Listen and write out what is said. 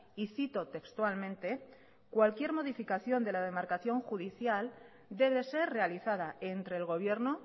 y cito textualmente cualquier modificación de la demarcación judicial debe ser realizada entre el gobierno